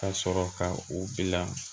Ka sɔrɔ ka u bila